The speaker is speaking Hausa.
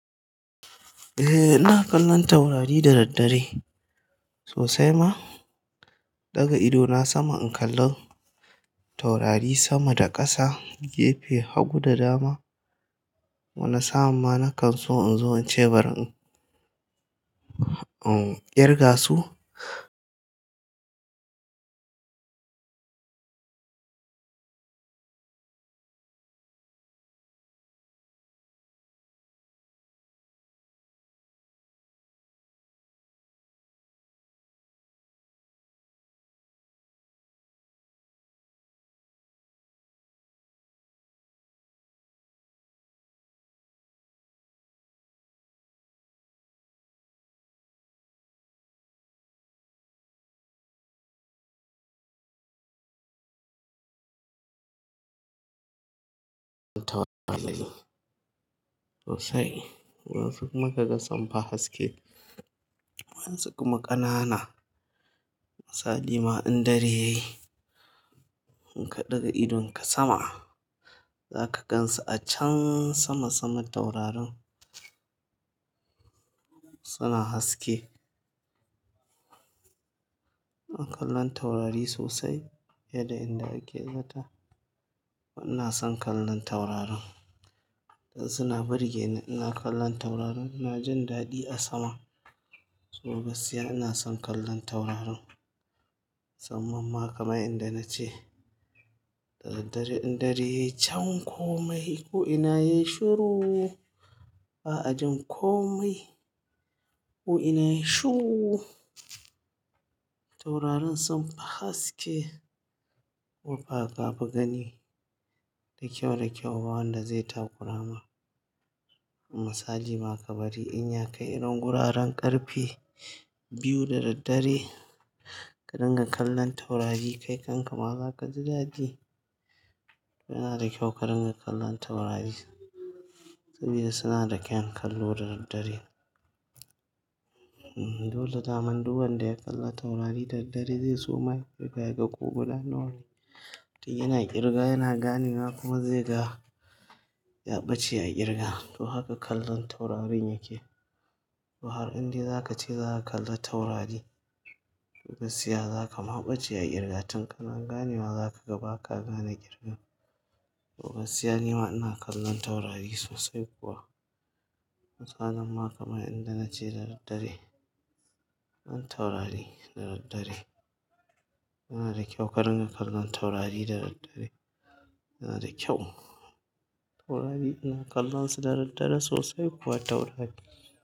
Eh ina kallon taurari da daddare sosai ma. Ɗaga idona sama in kalla taurari sama da ƙasa, gefe, hagu da dama. Wani sa'a ma na kan so in zo in ce bari in, in ƙirga su. Taurari sosai. Waɗansu maka gasan fa haske, waɗansu kuma ƙanana. Misali ma in dare yayi, in ka ɗaga idonka sama zaka gan su a can sama saman taurarin suna haske. Ina kallon taurari sosai yadda in dare ke sata. Ina son kallon taurarin. Suna burge ni, ina kallon taurarin. Na jin daɗi a sama. Tsohu basiya ina son kallon taurarin. Saman ma kama inda nace ɗaɗaɗare in dare yayi can komai ku ina yayi shuru. Ba a jin komai ku ina yayi shuru. Taurarin sun fa haske. Wafa gabi gani da kyau da kyau ba wanda zai takura ma. Misali ma ka bari in ya kai irin guraren ƙarfe biyu da daddare ka dinga kallon taurari kai kanka ma zaka ji daɗi. Yana da kyau ka dinga kallon taurari saboda suna da kyan kallo da daddare. Hmm dole zaman duk wanda ya kalla taurari da daddare zai so ma kai kai ga ƙuguna nawari. Yana ƙirga, yana gani kuma zai ga ya ɓace a ƙirga. To haka kallon taurarin yake. To har in dai za ka ce za ka kalla taurari gaskiya za ka ma ɓace a ƙirga tun kana ganewa za ka gaba ka gane ƙirga. Tsohu basiya nima ina kallon taurari sosai kuwa. Misalin ma kama inda nace da daddare. Taurari da daddare. Yana da kyau ka dinga kallon taurari da daddare. Yana da kyau. Taurari ina kallon su da daddare sosai kuwa taurari.